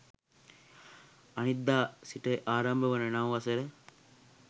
අනිද්දා සිට ආරම්භ වන නව වසර